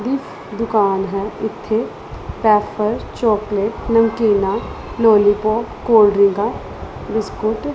ਦੀ ਦੁਕਾਨ ਹੈ ਇੱਥੇ ਵੈਫਰ ਚੋਕਲੇਟ ਨਮਕੀਨਾ ਲੋਲੀਪੋਪ ਕੋਲਡ੍ਰਿੰਕਾਂ ਬਿਸਕੁਟ --